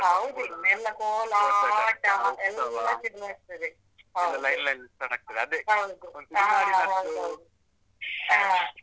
.